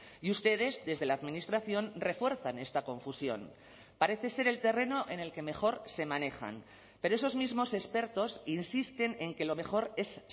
y ustedes desde la administración refuerzan esta confusión parece ser el terreno en el que mejor se manejan pero esos mismos expertos insisten en que lo mejor es